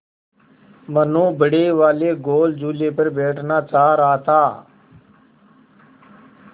मनु बड़े वाले गोल झूले पर बैठना चाह रहा था